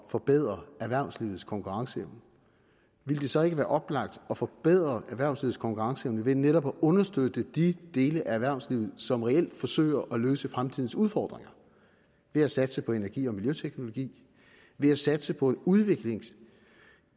forbedre erhvervslivets konkurrenceevne ville det så ikke være oplagt at forbedre erhvervslivets konkurrenceevne ved netop at understøtte de dele af erhvervslivet som reelt forsøger at løse fremtidens udfordringer ved at satse på energi og miljøteknologi ved at satse på en udvikling